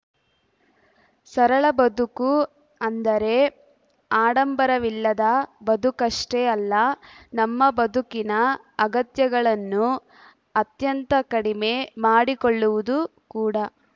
ಸರಳ ಬದುಕು ಅಂದರೆ ಆಡಂಬರವಿಲ್ಲದ ಬದುಕಷ್ಟೇ ಅಲ್ಲ ನಮ್ಮ ಬದುಕಿನ ಅಗತ್ಯಗಳನ್ನು ಅತ್ಯಂತ ಕಡಿಮೆ ಮಾಡಿಕೊಳ್ಳುವುದು ಕೂಡ